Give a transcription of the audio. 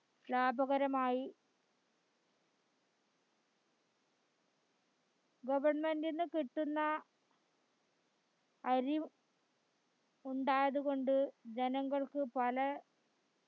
ലാഭകരമായി government ന്റീന്ന് കിട്ടുന്ന അരി ഉണ്ടായതകൊണ്ട് ജനങ്ങൾക്ക് പല